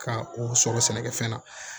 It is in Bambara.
Ka o sɔrɔ sɛnɛkɛfɛn na